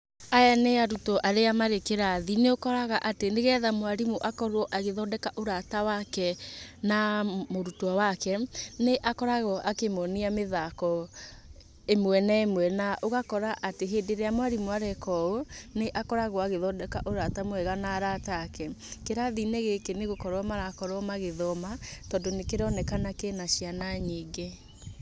Aya nĩ arutwo arĩa marĩ kĩrathi. Nĩũkoraga atĩ nĩgetha mwarimũ akorwo agĩthondeka ũraata wake na mũrutwo wake, nĩakoragwo akĩmuonia mĩthaako ĩmwe na ĩmwe, na ũgakora atĩ hĩndĩ ĩrĩa mwarimũ areeka ũũ nĩakoragwo agĩthondeka ũraata mwega na araata aake. Kĩrathi-inĩ gĩkĩ nĩ gũkorwo marakorwo magĩthooma, tondũ nĩ kĩroonekana kĩ na ciana nyingĩ.